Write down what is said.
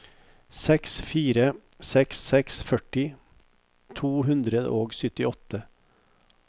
seks fire seks seks førti to hundre og syttiåtte